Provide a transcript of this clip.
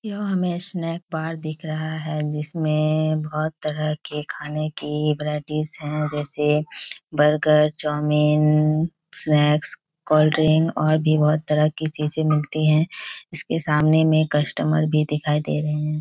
यह हमे एक स्नैक बार दिख रहा है जिसमे बहुत तरह के खाने की वैराइटीज है जैसे बर्गर चाउमीन स्नैक्स कोलड्रिंक और भी बहुत तरह के चीजें मिलती हैं इसके सामने में कस्टमर भी दिखाई दे रहे हैं।